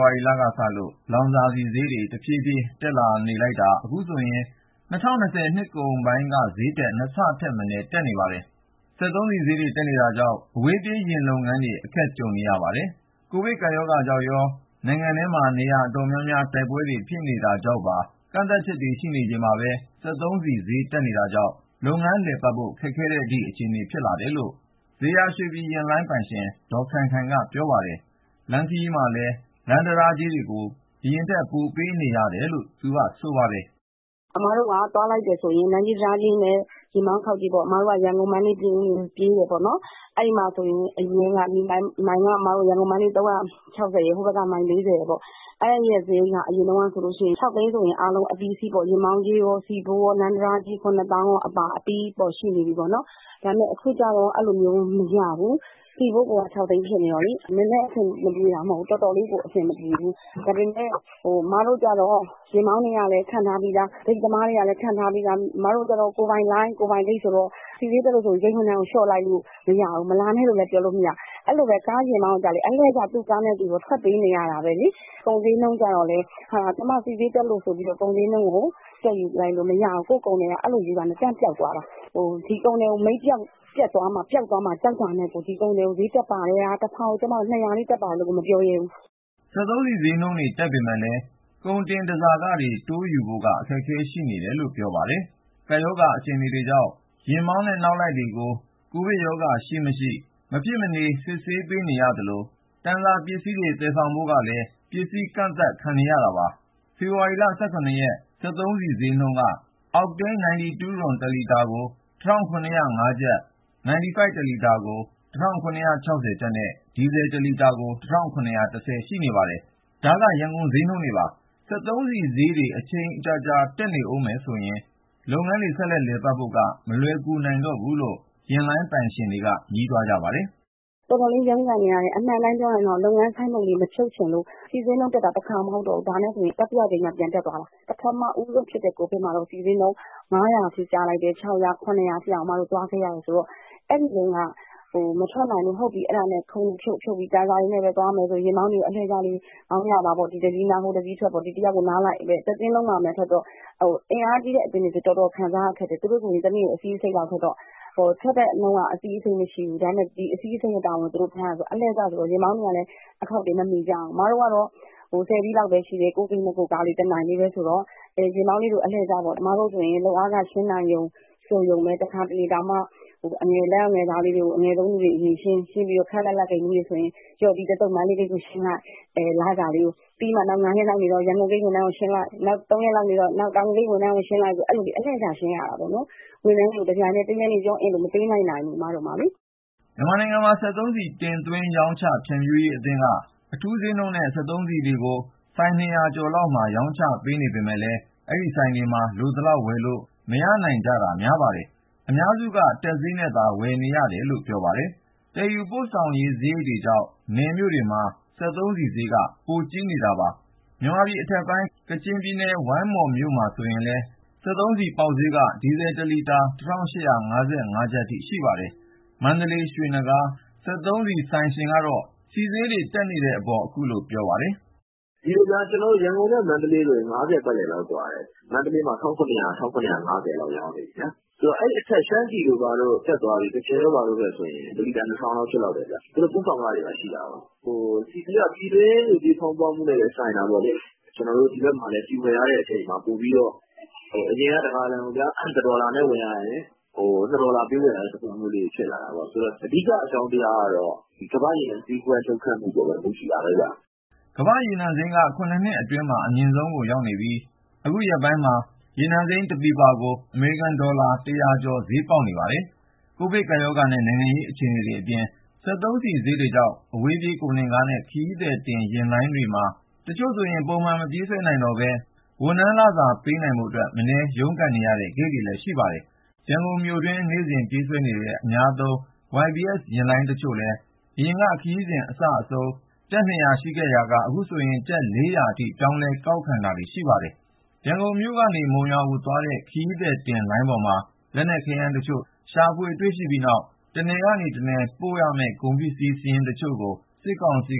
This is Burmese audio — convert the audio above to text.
ါရီလကစလို့ လောင်စာဆီဈေးတွေ တဖြည်းဖြည်းတက်နေတာ အခုဆိုရင် ၂၀၂၀ နှစ်ကုန်ပိုင်းက ဈေးထက် ၂ ဆထက်မနည်း တက်နေပါတယ်။ စက်သုံးဆီဈေးတွေ တက်နေတာကြောင့် အဝေးပြေးယာဉ်လုပ်ငန်းတွေ အခက်တေ့ွနေကြပါတယ်။ ကိုဗစ်ကပ်ရောဂါကြောင့်ရော နိုင်ငံထဲ နေရာတော်တော်များများမှာ တိုက်ပွဲတွေဖြစ်နေတာကြောင့်ပါ ကန့်သတ်ချက်တွေရှိနေချိန်မှာပဲ စက်သုံးဆီဈေး တက်နေတာကြောင့် လုပ်ငန်းလည်ပတ်ဖို့ ခက်ခဲတဲ့အထိ အခြေအနေဖြစ်နေတယ်လို့ ဇေယျာရွှေပြည်ယာဉ်လိုင်း ပိုင်ရှင် ဒေါ် ခိုင်ခိုင်က ပြောပါတယ်။ လမ်းခရီးမှာ လမ်းတံတားကြေးတွေကိုလည်း ပိုပေးနေရတယ်လို့ သူက ခုလိုပြောပါတယ်။ "အစ်မတို့က သွားလိုက်တယ်ဆိုရင် လမ်းကြေး၊ တံတားကြေးနဲ့ ယာဉ်မောင်းခေါက်ကြေးပေါ့။ အစ်မတို့က ရန်ကုန်၊ မန္တလေး၊ ပြင်ဦးလွင် ပြေးတာပေါ့နော်။ အဲဒီမှာဆိုရင် အရင်းက ရန်ကုန် - မန္တလေး မိုင်က ၃၆၀ ရယ်၊ ဟိုဘက်က မိုင် ၄၀ ရယ်ပေါ့။ အဲဒီရဲ့ စရိတ်က အရင်တုန်းကဆိုရင် ၆ သိန်းဆိုရင် အားလုံးအပြီးအစီးပေါ့။ ယာဉ်မောင်းကြေးရော၊ ဆီဖိုး ရော၊ လမ်း တံတားကြေး ၇ သောင်းအပါ အပြီး ရှိနေပြီပေါ့နော်။ ဒါပေမယ့် အခုကျတော့ အဲလိုမျိုး မရဘူး။ ဆီဖိုးကိုက ၆ သိန်းဖြစ်နေတော့လေ၊ နည်းနည်းအဆင်မပြေတာ မဟုတ်ဘူး၊ တော်တော်လေးကို အဆင်မပြေဘူး။ ဒါပေမယ့် အစ်မတို့ကျတော့ ယာဉ်မောင်းတွေကလည်း ခန့်ထားပြီးသား၊ ဂိတ်သမားတွေကလည်း ခန့်ထားပြီးသား။ အစ်မတို့ကျတော့ ကိုယ်ပိုင်လိုင်း၊ ကိုယ်ပိုင်ဂိတ်ဆိုတော့ ဆီဈေးတက်လို့ဆိုပြီး ဝန်ထမ်းကလျှော့လိုက်လို့ မရဘူး။ မလာနဲ့လို့လည်း ပြောလို့မရဘူး။ အဲလိုပဲ ယာဉ်မောင်းကိုကျတော့လည်း သူ့ကားနဲ့သူတော့ ထွက်ပေးနေရတာပဲလေ။ ကုန်ဈေးနှုန်းကျတော့လည်း ကျမတို့ဆီဈေးတက်လို့ ဆိုပြီးတော့ ကုန်ဈေးကို တက်ယူလိုက်လို့မရဘူး။ ကိုယ့် ကုန်သည်က အဲလိုယူတာနဲ့ တန်းပျောက်သွားတာ။ ဒီကုန်သည်ကို မိတ်ပျက်သွားမှာ ပျောက်သွားမှာ ကြောက်တာနဲ့ကို တဖာကို ၂၀၀ လေး တက်ပါတယ်လို့ကို မပြောရဲဘူး။" စက်သုံးဆီဈေးနှုန်းတွေ တက်ပေမယ့်လည်း ကုန်တင် တန်ဆာခတွေ တိုးယူဖို့က အခက်အခဲတွေ ရှိနေတယ်လို့ ပြောပါတယ်။ ကပ်ရောဂါအခြေအနေကြောင့် ယာဉ်မောင်းနဲ့ နောက်လိုက်တွေမှာ ကိုဗစ်ကပ်ရောဂါရှိ-မရှိ အခကြေးငွေပေးပြီး မဖြစ်မနေ စစ်ဆေး ခံနေရသလို၊ တန်ဆာ ပစ္စည်းတွေ သယ်ဆောင်ဖို့ကိုလည်း ပစ္စည်းကန့်သတ် ခံနေရတာပါ။ ဖေဖော်ဝါရီလ ၁၇ ရက် စက်သုံးဆီဈေးနှုန်းတွေက အောက်တိန်း 92 တလီတာကို ၁,၇၀၅ ကျပ်၊ 95 တလီတာ ၁,၇၆၀ ကျပ်နဲ့ ဒီဇယ် တလီတာကို ၁,၇၁၀ အထိ ရှိနေပါတယ်။ ဒါက ရန်ကုန်ဈေးနှုန်းတွေပါ။ စက်သုံးဆီဈေးတွေ အချိန်ကြာကြာ တက်နေမယ်ဆိုရင် လုပ်ငန်းတွေ ဆက်လည်ပတ်နိုင်ဖို့က မလွယ်ကူတော့ဘူးလို့ ယာဉ်လိုင်းပိုင်ရှင်တွေက ညည်းတွားနေကြပါတယ်။ "တော်တော်လေး ရုန်းကန်နေရတယ်။ အမှန်တိုင်းပြောရရင်တော့ လုပ်ငန်း ဆိုင်းဘုတ်လေး မဖြုတ်ချင်လို့။ ဆီဈေးနှုန်းတက်တာက တခါ မဟုတ်တော့ဘူး။ ဒါနဲ့ဆိုရင် တတိယအကြိမ်မြောက် ပြန်တက်သွားတာ။ ပထမဦးဆုံးဖြစ်တဲ့ ကိုဗစ်မှာတုန်းက ဆီဈေးနှုန်း ၅၀၀၊ ၆၀၀၊ ၇၀၀ အထိတောင် အစ်မတို့ သွားခဲ့ရတယ်ဆိုတော့ အဲဒီတုန်းက မထွက်နိုင်လို့ ခုံတွေဖြုတ်ပြီး တန်ဆာနဲ့ပဲ သွားမယ်ဆိုပြီး ယာဉ်မောင်းတွေကို အလှည့်ကျလေး မောင်းကြပါပေါ့။ အင်အားကြီးတဲ့အသင်းတွေဆိုရင် တော်တော်ခံရတယ်။ သူတို့ဆိုရင် တနေ့ကို ၂၅ စီးလောက်ထွက်တော့ ထွက်တဲ့နှုန်းက အဲလောက်မရှိဘူး။ ဒါပေမယ့် ၂၅ စီးလုံးရဲ့ဝန်ကို သူတို့ ထမ်းရတယ်ဆိုတော့ ယာဉ်မောင်းတွေကလည်း အခေါက်တွေ မမီကြဘူး။ အစ်မတို့ကတော့ ၁၀ စီးလောက်ပဲရှိတယ်၊ ကိုယ့်ဂိတ်နဲ့ ကိုယ့်ကားလေး တနိုင်ပဲဆိုတော့ ယာဉ်မောင်းတွေကို အလှည့်ကျပေါ့။ အစ်မတို့ဆိုရင် လုပ်အားခ ရှင်းနိုင်တယ် ဆိုရုံလေးပဲ။ တခါတလေဆိုရင် အငယ်ဆုံး လုပ်သားလေးတွေကို အရင်ရှင်းပြီးတော့ ခပ်လတ်လတ် ဂိတ်မှူးတွေဆိုရင် ဒီတသုတ် မန္တလေးဂိတ်ကိုရှင်းလိုက်၊ နောက် ၅ ရက်လောက်နေမှ ရန်ကုန်ဂိတ် ဝန်ထမ်းတွေကို ရှင်းလိုက်။ နောက် ၃ ရက်လောက်နေတော့ တောင်ငူဂိတ် ဝန်ထမ်းကို ရှင်းလိုက်နဲ့ လစာကို အလှည့်ကျ ရှင်းရတာပေါ့နော်။ ဝန်ထမ်းတွေကို တပြိုင်တည်း တရက်တည်း လစာကို မပေးလိုက်နိုင်ဘူး အစ်မတို့မှာလေ။" မြန်မာနိုင်ငံ စက်သုံးဆီ တင်သွင်းရောင်းချ ဖြန့်ဖြူးရေးအသင်းက အထူးဈေးနှုန်းနဲ့ စက်သုံးဆီတွေကို ဆိုင် ၂၀၀ ကျော်လောက်မှာ ရောင်းချပေးနေပေမယ့်လည်း အဲဒီဆိုင်တွေမှာ လိုသလောက်ဝယ်လို့ မရနိုင်ကြတာ များပါတယ်။ အများစုက တက်ဈေးနဲ့သာ ဝယ်ယူနေရတာလို့ ပြောပါတယ်။ သယ်ယူပို့ဆောင်ရေးစရိတ်တွေကြောင့် နယ်မြို့တွေမှာ စက်သုံးဆီဈေးက ပိုများပါတယ်။ မြန်မာပြည်အထက်ပိုင်း ကချင်ပြည်နယ်၊ ဝိုင်းမော်မြို့မှာဆို ဒီနေ့ ဆီပေါက်ဈေးက ဒီဇယ်တလီတာ ၁,၈၅၅ ကျပ်အထိ ရှိပါတယ်။ မန္တလေး ရွှေနဂါး စက်သုံးဆီဆိုင်ရှင်ကတော့ စက်သုံးဆီဈေးတွေ တက်နေတဲ့အပေါ် သူ့အမြင်ကို ပြောပါတယ်။ "ဒီလိုဗျာ ကျနော်တို့ ရန်ကုန်နဲ့ မန္တလေးဆိုရင် ၅၀ ပတ်လည်လောက် ကွာတယ်။ မန္တလေးမှာ ၁,၇၀၀၊ ၁,၇၅၀ လောက် ရောင်းနေပြီဗျာ။ ဆိုတော့ အဲဒီအထက် ရှမ်းပြည်တို့ဘာတို့ တက်သွားပြီ၊ ကချင်တို့ဘာတို့ ဘက်ဆိုရင် ၁ လီတာ ၂,၀၀၀ လောက် ဖြစ်လောက်တယ်ဗျ။ သူတို့ ပို့ဆောင်ခတွေ ရှိတာကိုး။ ဆီဈေးက ပြည်တွင်းငွေကြေး ဖောင်းပွမှုနဲ့လည်း ဆိုင်တာပေါ့လေ။ ကျနော်တို့ ဒီဘက်မှာလည်း ဆီဝယ်ရတဲ့အချိန်မှာ ပိုပြီးတော့ အရင်က ၁ ဂါလံကိုဗျာ ၁ ဒေါ်လာနဲ့ ဝယ်ရရင် ခု ၂ ဒေါ်လာပေးဝယ်ရတဲ့ သဘောမျိုး ဖြစ်လာတာပေါ့။ ဆိုတော့ အဓိက အကြောင်းတရားကတော့ ဒီကမ္ဘာ့ရေနံ လှုပ်ခတ်မှုအပေါ်မှာပဲ မူတည်တာပဲဗျ။" ကမ္ဘာ့ရေနံစိမ်းက ၇ နှစ်အတွင်းမှာ အမြင့်ဆုံးကိုရောက်နေပြီး အခုရက်ပိုင်းမှာကို ရေနံစိမ်း တစည်ကို အမေရိကန်ဒေါ်လာ ၁၀၀ ကျော် ဈေးပေါက်နေပါတယ်။ ကိုဗစ်ကပ်ရောဂါနဲ့ နိုင်ငံရေးအခြေအနေတွေအပြင် စက်သုံးဆီဈေးတွေကြောင့် အဝေးပြေး ကုန်တင်ယာဉ်နဲ့ ခရီးသည်တင်ယာဉ်လိုင်းတွေမှာ တချို့ဆို ပုံမှန်မပြေးဆွဲနိုင်တော့ပဲ ဝန်ထမ်းလစာ ပေးနိုင်ဖို့အတွက် မနည်း ရုန်းကန်နေရတဲ့ ဂိတ်တွေလည်း ရှိပါတယ်။ ရန်ကုန်မြို့တွင်းမှာ နေ့စဉ်ပြေးဆွဲနေတဲ့ အများသုံး YBS ယာဉ်လိုင်းတချို့လည်း အရင်က ခရီးစဉ်အစအဆုံးကို ကျပ် ၂၀၀ ယူရာကနေ အခု ကျပ် ၄၀၀ အထိ ပြောင်းလဲ ကောက်ခံတာတွေ ရှိနေပါတယ်။ ရန်ကုန်ကနေ မုံရွာသွားတဲ့ ခရီးသည်ယာဉ်လိုင်းပေါ်မှာ လက်နက် ခဲယမ်းတချို့ ရှာဖွေတွေ့ရှိပြီးတဲ့နောက် တနယ်ကနေ တနယ်ကို ပို့ခွင့် မရှိတဲ့ တချို့ကုန်စည်စာရင်းကို စစ်ကောင်စီ